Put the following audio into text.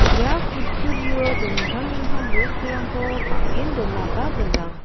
ia kutturio dingtang dingtang bosturangko bang·en donaba gnang.